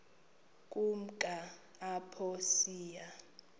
ukumka apho saya